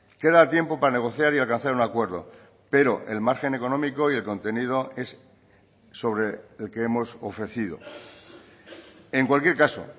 queda tiempo para negociar y alcanzar un acuerdo pero el margen económico y el contenido es sobre el que hemos ofrecido en cualquier caso